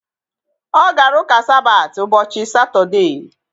Ọ gara ụka Sabati ụbọchị Satọdee